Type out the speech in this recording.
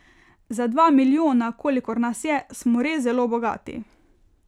Za dva milijona, kolikor nas je, smo res zelo bogati.